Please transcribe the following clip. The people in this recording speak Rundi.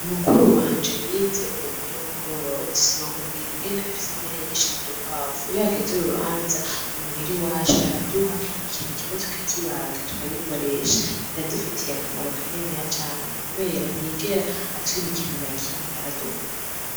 Mukuru wanje yize uburimyi n'ubworozi, sinokubwira ingene afise impene nyinshi n'udukwavu, iyo hageze urubanza, i muhira iwacu, araduha ikintu kimwe tukakibaga tukagikoresha, biradufitiye akamaro kaniniya cane kubera ntiyigera atwima ikintu na kimwe aradukunda.